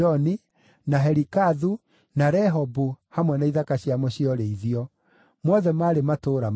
na Helikathu, na Rehobu hamwe na ithaka ciamo cia ũrĩithio; mothe maarĩ matũũra mana;